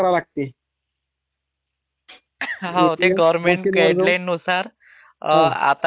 हो, ते government guideline नुसार आता काही बँकांचे वेगवेगळे रूल असतात.